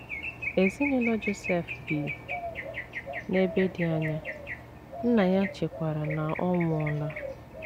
Ezinụlọ Josef bi n’ebe dị anya, nna ya chekwara na ọ nwụọla.